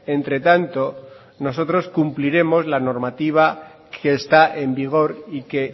entre tanto nosotros cumpliremos la normativa que está en vigor y que